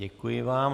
Děkuji vám.